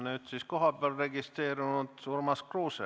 Nüüd siis kohapeal registreerunud Urmas Kruuse.